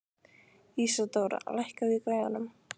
Ísadóra, lækkaðu í græjunum.